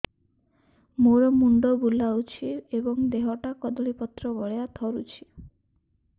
ମୋର ମୁଣ୍ଡ ବୁଲାଉଛି ଏବଂ ଦେହଟା କଦଳୀପତ୍ର ଭଳିଆ ଥରୁଛି